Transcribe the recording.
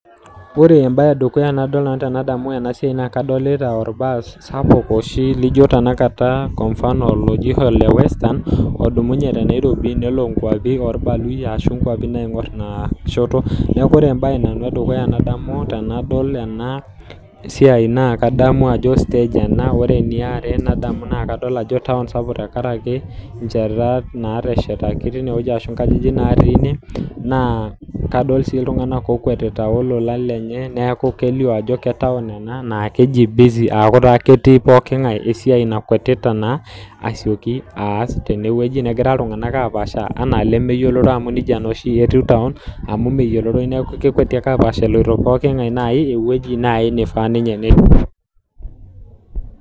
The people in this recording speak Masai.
Ore embaye e dukuya tenadol ena siai naa kadolita olbaas sapuk oshi, lijo tenakata kwa mafano oji ole Western, odumunye te Nairobi, nelo inkwapi oolbaluyia, arashu inkwapi naing'or ina shoto. Neaku ore embaye e dukuya nanu nademu tenadol ena iai naa kadamu ajo stage ena. Ore ene are nadamu ajo taun sapuk ena tenkaraki, nchetat naateshetaki teine wueji arashu inkajijik natii ine, naa kadol sii iltung'anak otii okwetita olola lenye, neaku kelio ajo ketaun ena naa keji busy aaku taa ketii pooking'ai esiai nakwatita naa, aasioki aas tene wueji, negira iltung'ana apaasha, anaa ilemeyioloro amu neija naa oshi etiu taon, amu meyioloroi neaku ekweti ake apaasha eloito pooking'ai naaji ewueji naaji neifaa.